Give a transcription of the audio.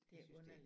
Det underligt